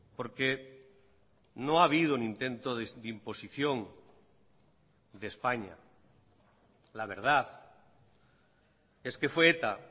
porque no ha habido un intento de imposición de españa la verdad es que fue eta